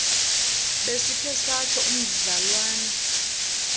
besikhe satsho umdlalwana